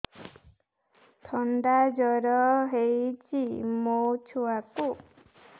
ଥଣ୍ଡା ଜର ହେଇଚି ମୋ ଛୁଆକୁ